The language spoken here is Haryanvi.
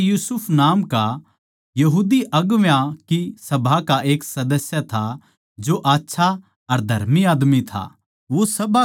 ओड़ै यूसुफ नाम का बड्डी सभा का एक सदस्य था जो आच्छा अर धर्मी आदमी था